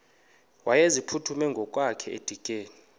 wayeziphuthume ngokwakhe edikeni